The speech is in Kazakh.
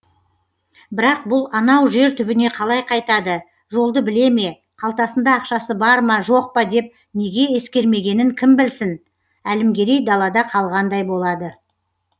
бірақ бұл анау жер түбіне қалай қайтады жолды біле ме қалтасында ақшасы бар ма жоқ па деп неге ескермегенін кім білсін әлімгерей далада қалғандай болады